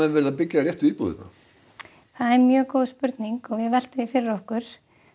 verið að byggja réttu íbúðirnar það er góð spurning við veltum því fyrir okkur